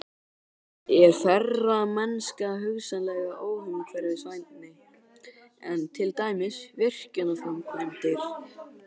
Er ferðamennska hugsanlega óumhverfisvænni en til dæmis virkjunarframkvæmdir?